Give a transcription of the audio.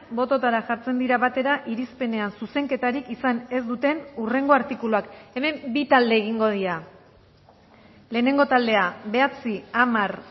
bototara jartzen dira batera irispenean zuzenketarik izan ez duten hurrengo artikuluak hemen bi talde egingo dira lehenengo taldea bederatzi hamar